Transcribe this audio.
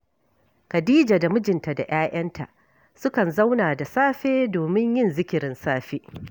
Khadija da mijinta da ‘ya’yanta sukan zauna da safe domin yin zikirin safe